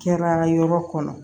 Kɛra yɔrɔ kɔnɔ